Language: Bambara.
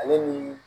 Ale ni